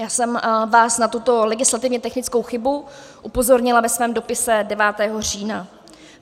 Já jsem vás na tuto legislativně technickou chybu upozornila ve svém dopise 9. října.